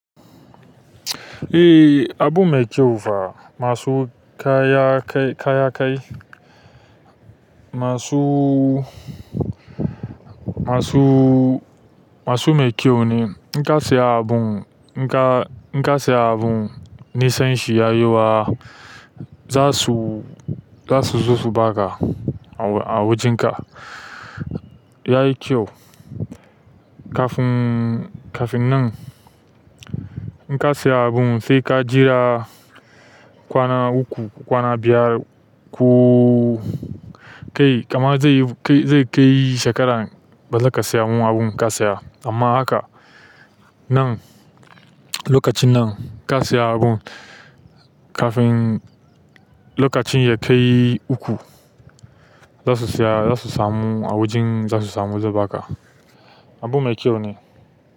Eh, abun mai kyau fa. Masu kaya kai kaya kai masu masu masu mai kyau ne. In ka siya abun in ka in ka siya abun nisan shi ya yawa za su za su zo su ba ka a a wajen ka. Yayi kyau. Kafin kafin nan in ka siya abun sai ka jira kwana uku, kwana biyar ko kai kamar zai kai zai kai shekaran ba za ka samu abun ka siya. Amma haka nan lokacin nan ka siya abun kafin lokacin ya kai uku za su siya za su samu a wajen za su samu zai ba ka. Abu mai kyau ne.